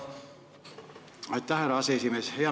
Aitäh, härra aseesimees!